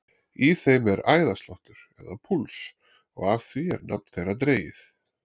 Í þeim er æðasláttur eða púls og af því er nafn þeirra dregið.